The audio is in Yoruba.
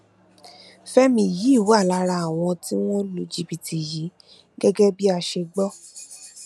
fẹmi yìí wà lára àwọn tí wọn lu jìbìtì yìí gẹgẹ bá a ṣe gbọ